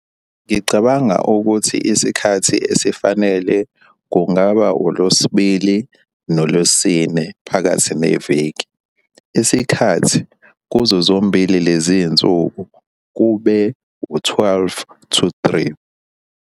Ngicabanga ukuthi isikhathi esifanele kungaba uLwesibili noLwesine phakathi neviki. Isikhathi kuzo zombili lezi nsuku kube u-twelve to three.